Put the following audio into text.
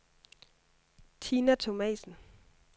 Tina Thomasen